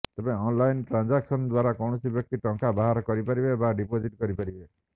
ତେବେ online transaction ଦ୍ବାରା କୌଣସି ବ୍ୟକ୍ତି ଟଙ୍କା ବାହାର କରିପାରିବେ ବା ଡିପୋଜିଟ କରିପାରିବେ